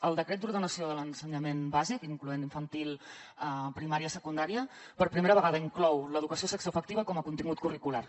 el decret d’ordenació de l’ensenyament bàsic incloent infantil primària i secundària per primera vegada inclou l’educació sexoafectiva com a contingut curricular